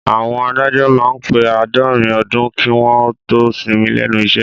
Àwọn adájọ́ máá ń pè àádọ́rin ọdún kí wọ́n ó tó sinmi lẹ́nu iṣẹ́